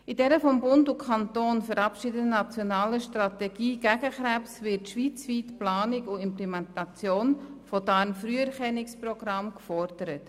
In der von Bund und Kantonen verabschiedeten nationaler Strategie gegen Krebs wird schweizweit die Planung und Implementation von Darmkrebsfrüherkennungsprogrammen gefordert.